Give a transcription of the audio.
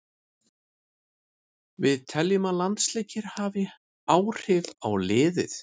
Við teljum að landsleikir hafi haft áhrif á liðið.